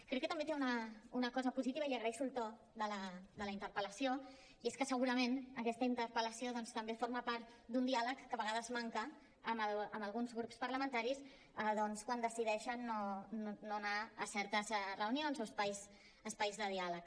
crec que també té una cosa positiva i li agraeixo el to de la interpel·lació i és que segurament aquesta interpel·lació doncs també forma part d’un diàleg que a vegades manca amb alguns grups parlamentaris quan decideixen no anar a certes reunions o espais de diàleg